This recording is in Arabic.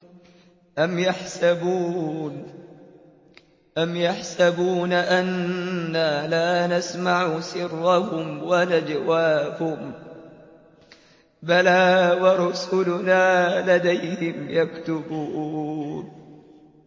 أَمْ يَحْسَبُونَ أَنَّا لَا نَسْمَعُ سِرَّهُمْ وَنَجْوَاهُم ۚ بَلَىٰ وَرُسُلُنَا لَدَيْهِمْ يَكْتُبُونَ